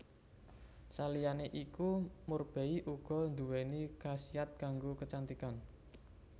Saliyané iku murbei uga nduwéni khasiat kanggo kecantikan